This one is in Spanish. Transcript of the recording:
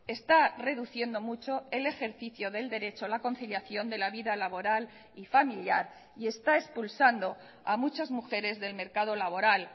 está reduciendo mucho el ejercicio del derecho a la conciliación de la vida laboral y familiar y está expulsando a muchas mujeres del mercado laboral